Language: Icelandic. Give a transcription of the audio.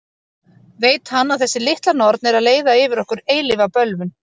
Veit hann að þessi litla norn er að leiða yfir okkur eilífa bölvun?